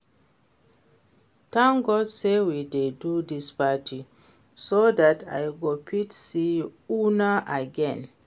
Thank God say we dey do dis party so dat I go fit see una again